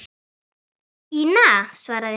Ína, svaraði hún.